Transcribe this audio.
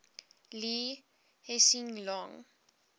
lee hsien loong